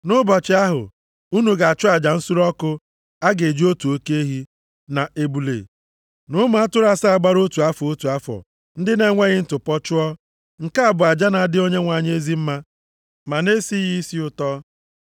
Nʼụbọchị ahụ, unu ga-achụ aja nsure ọkụ a ga-eji otu oke ehi, na ebule, na ụmụ atụrụ asaa gbara otu afọ, otu afọ ndị na-enweghị ntụpọ, chụọ. Nke a bụ aja na-adị Onyenwe anyị ezi mma, ma na-esi ya isi ụtọ.